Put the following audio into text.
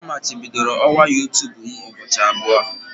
Amachibidoro ọwa youtube m ụbọchị abụọ.